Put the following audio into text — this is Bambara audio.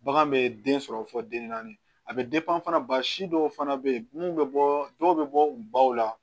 Bagan bɛ den sɔrɔ fɔ den naani a bɛ fana ba si dɔw fana bɛ yen minnu bɛ bɔ dɔw bɛ bɔ baw la